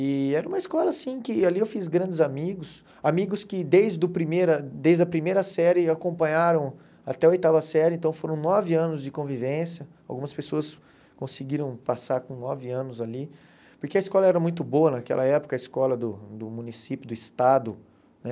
E era uma escola, assim, que ali eu fiz grandes amigos, amigos que desde o primeira desde a primeira série acompanharam até a oitava série, então foram nove anos de convivência, algumas pessoas conseguiram passar com nove anos ali, porque a escola era muito boa naquela época, a escola do do município, do estado, né?